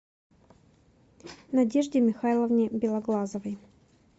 надежде михайловне белоглазовой